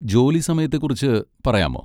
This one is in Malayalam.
ജോലി സമയത്തെക്കുറിച്ച് പറയാമോ?